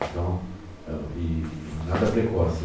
Então, e e nada precoce.